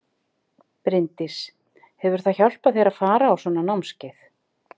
Bryndís: Hefur það hjálpað þér að fara á svona námskeið?